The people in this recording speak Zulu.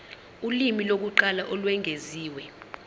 ulimi lokuqala olwengeziwe